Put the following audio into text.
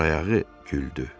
Baxsa ayağı güldü.